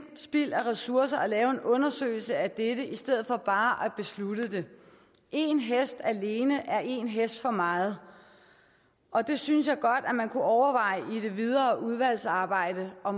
spild af ressourcer at lave en undersøgelse af dette i stedet for bare at beslutte det en hest alene er en hest for meget og det synes jeg godt at man kunne overveje i det videre udvalgsarbejde og